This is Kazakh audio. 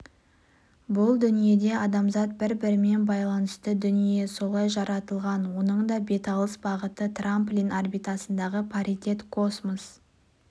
бұл дүниеде адамзат бір-бірімен байланысты дүние солай жаратылған оның да беталыс бағыты трамплин орбитасындағы паритет космос